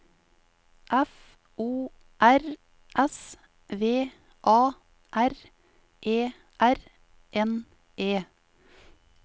F O R S V A R E R N E